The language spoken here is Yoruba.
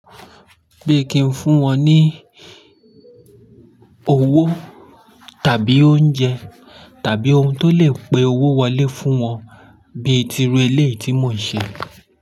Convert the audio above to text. Bí kì ń fún wọn ní owó tàbí oúnjẹ tàbí ohun tó lè pe owó wọlé fún wọn bíi tìrú eléèti mó ìṣe.